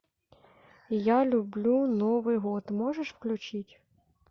я люблю новый год можешь включить